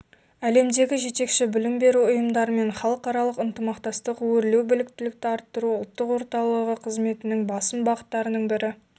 әлемдегі жетекші білім беру ұйымдарымен халықаралық ынтымақтастық өрлеубліктілікті арттыру ұлттық орталығықызметінің басым бағыттарының бірі